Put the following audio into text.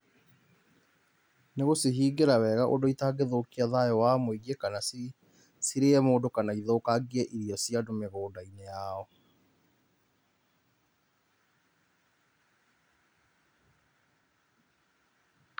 Nĩ gũcihingĩra wega ũndũ itangĩthũkia thayũ wa mũingĩ kana cirĩe mũndũ kana ithũkangie irio cia andũ mũgũnda-inĩ yao.